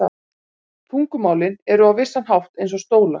Tungumálin eru á vissan hátt eins og stólar.